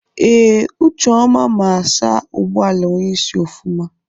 Ee, ucheọma ma asa ụgbọala onyeisi ofụma.